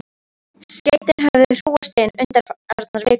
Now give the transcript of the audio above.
Skeytin höfðu hrúgast inn undanfarnar vikur.